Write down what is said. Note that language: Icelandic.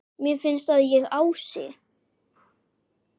Mér finnst að ég, Ási